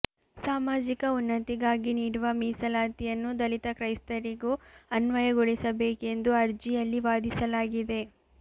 ಸಾಮಾಜಿಕ ಉನ್ನತಿಗಾಗಿ ನೀಡುವ ಮೀಸಲಾತಿಯನ್ನು ದಲಿತ ಕ್ರೈಸ್ತರಿಗೂ ಅನ್ವಯಗೊಳಿಸಬೇಕೆಂದು ಅರ್ಜಿಯಲ್ಲಿ ವಾದಿಸಲಾಗಿದೆ